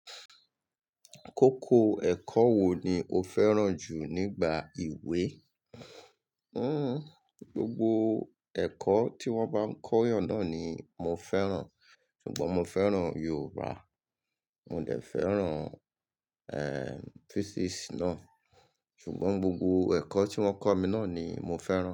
Kókó ẹ̀kọ́ wo ni o fẹ́ràn jù nígbà ìwé? Gbogbo ẹ̀kọ́ tí wón bá ń kọ́yàn náà ni mo fẹ́ràn. Ṣùgbọ́n mo fẹ́ràn Yorùbá, mo dẹ̀ fẹ́ràn, Physics náà. Ṣùgbọ́n gbogbo ẹ̀kọ́ tí wọ́n kọ́ mi náà ni mo fẹ́ràn.